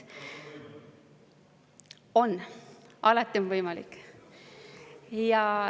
On, alati on võimalik.